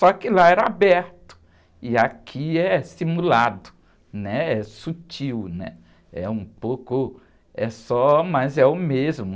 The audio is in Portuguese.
Só que lá era aberto e aqui é simulado, né? É sutil, né? É um pouco, é só, mas é o mesmo.